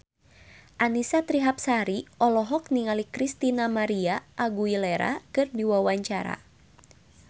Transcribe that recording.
Annisa Trihapsari olohok ningali Christina María Aguilera keur diwawancara